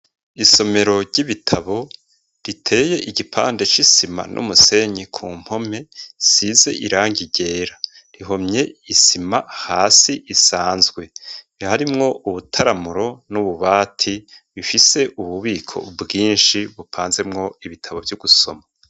isomero ry'ibitabo riteye igipande c'isima n'umusenyi ku mpome size irangi ryera. Rihomye isima hasi isanzwe biharimwo ubutaramuro n'ububati bifise ububiko bwinshi bupanzemwo ibitabo vyo gusoma.